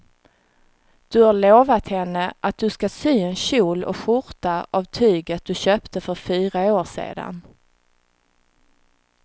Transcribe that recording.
Du har lovat henne att du ska sy en kjol och skjorta av tyget du köpte för fyra år sedan.